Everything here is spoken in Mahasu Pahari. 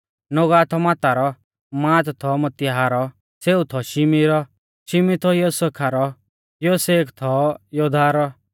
नोगहा थौ माता रौ मात थौ मतित्याह रौ सेऊ थौ शिमी रौ शिमी थौ योसेखा रौ योसेख थौ योदाहा रौ